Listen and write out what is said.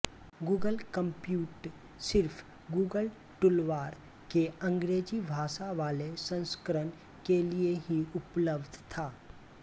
Google compute सिर्फ Google toolbar के अंग्रेज़ी भाषा वाले संस्करण के लिए ही उपलब्ध था